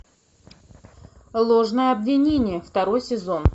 ложное обвинение второй сезон